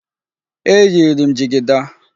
Eyiri m jigida.